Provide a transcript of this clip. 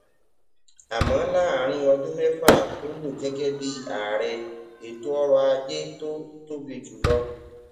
àmó láàárín ọdún méfà tó lò gégé bí ààrẹ ètò ọrò ajé tó tóbi jù lọ